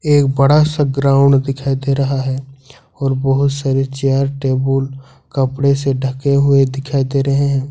एक बड़ा सा ग्राउंड दिखाई दे रहा है और बहोत सारे चेयर टेबुल कपड़े से ढके हुए दिखाई दे रहे हैं।